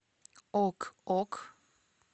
ок ок